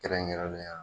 Kɛrɛnkɛrɛnnenya